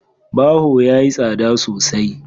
Baho yayi tsada sosai.